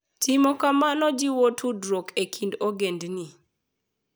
Timo kamano jiwo tudruok e kind ogendini.